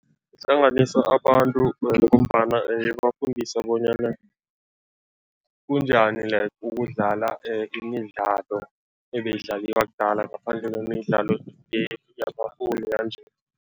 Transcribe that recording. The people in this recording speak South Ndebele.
Ihlanganisa abantu ngombana ibafundisa bonyana kunjani like ukudlala imidlalo ebeyidlaliwa kudala ngaphandle kwemidlalo yanje.